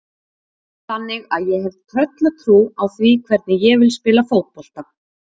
Þannig að ég hef tröllatrú á því hvernig ég vil spila fótbolta.